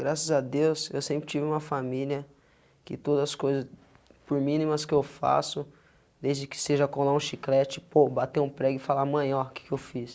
Graças a Deus, eu sempre tive uma família que todas as coisas, por mínimas que eu faço, desde que seja colar um chiclete, pô, bater um prego e falar, mãe, ó, o que que eu fiz?